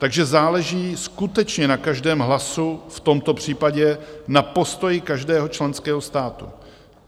Takže záleží skutečně na každém hlasu, v tomto případě na postoji každého členského státu.